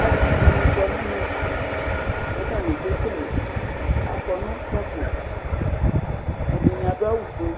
Aalʋviɖini kɔ n'ɛmɛ k'atani k'ekeleAkɔ nʋ kpafo Ɛɖini aɖdʋ awu foe,